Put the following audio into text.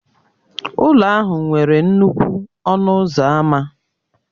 Ụlọ ahụ nwere nnukwu ọnụ ụzọ ámá